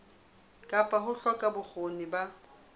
kapa ho hloka bokgoni ba